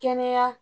Kɛnɛya